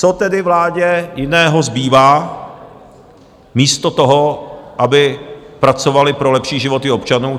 Co tedy vládě jiného zbývá místo toho, aby pracovali pro lepší životy občanů?